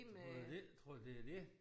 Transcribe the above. Tror du det? Tror du det er det?